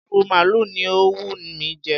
ìrù maalu ni ó ń wù mí jẹ.